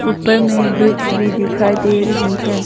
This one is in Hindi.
ऊपर में ब्रिज भी दिखाई दे रही है।